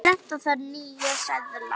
Prenta þarf nýja seðla.